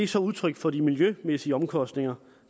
så udtryk for de miljømæssige omkostninger